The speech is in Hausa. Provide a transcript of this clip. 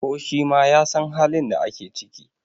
ko shi ma ya San halin da ake ciki!